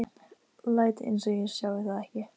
Læt einsog ég sjái það ekki.